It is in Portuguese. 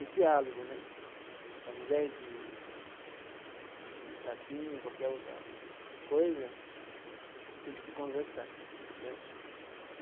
O diálogo né, ao invés de de de tapinha, qualquer outra coisa, tem que se conversar né.